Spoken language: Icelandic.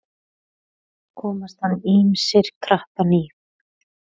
Komast hann ýmsir krappan í.